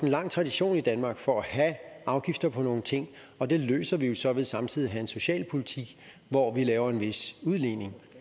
lang tradition i danmark for at have afgifter på nogle ting og det løser vi jo så ved samtidig at have en socialpolitik hvor vi laver en vis udligning